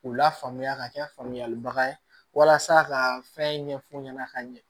K'u lafaamuya ka kɛ famuyalibaga ye walasa ka fɛn ɲɛf'u ɲɛna ka ɲɛ